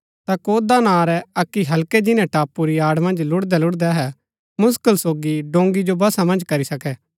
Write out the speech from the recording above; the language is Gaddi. ता कौदा नां रै अक्की हल्के जिन्‍नै टापू री आड़ मन्ज लुड़दै लुड़दै अहै मुसकल सोगी डोंगी जो वशा मन्ज करी सके